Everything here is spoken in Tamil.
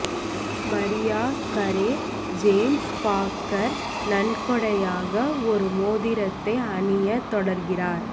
மரியா கரே ஜேம்ஸ் பாக்கர் நன்கொடையாக ஒரு மோதிரத்தை அணிய தொடர்கிறார்